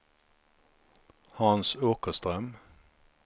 Hans Åkerström